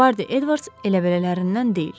Bardi Edvards elə belələrindən deyil.